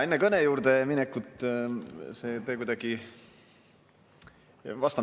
Enne kõne juurde minekut vastan teie küsimusele.